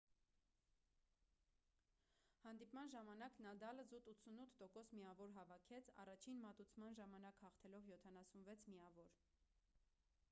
հանդիպման ժամանակ նադալը զուտ 88% միավոր հավաքեց առաջին մատուցման ժամանակ հաղթելով 76 միավոր